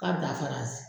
K'a dafara si